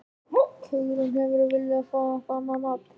Hugrún: Hefðirðu viljað fá eitthvað annað nafn?